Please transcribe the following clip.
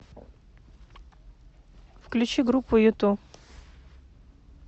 включи группу юту